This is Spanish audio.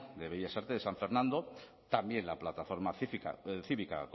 de bellas artes de san fernando también la plataforma cívica